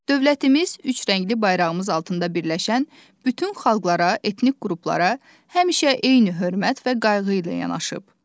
Dövlətimiz üç rəngli bayrağımız altında birləşən bütün xalqlara, etnik qruplara həmişə eyni hörmət və qayğı ilə yanaşıb.